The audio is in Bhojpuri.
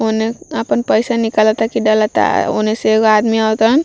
ओने आपन पैसा निकालता की डालता ओने से एगो आदमी आवतन।